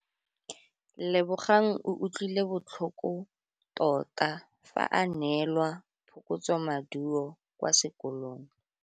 Lebogang o utlwile botlhoko tota fa a neelwa phokotsômaduô kwa sekolong.